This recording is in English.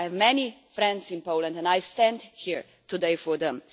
I have many friends in Poland and I stand here today for them.